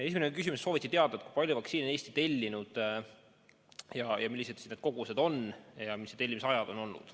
Esimene küsimus: soovitakse teada, kui palju vaktsiini on Eesti tellinud, millised need kogused on ja mis on tellimise ajad olnud.